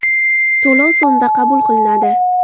To‘lov so‘mda qabul qilinadi.